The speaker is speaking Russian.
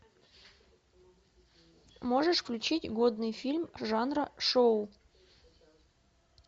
можешь включить годный фильм жанра шоу